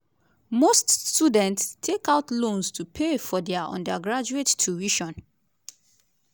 most students take out loans to pay for dia undergraduate tuition.